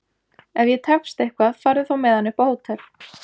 Ef ég tefst eitthvað farðu þá með hann upp á hótel!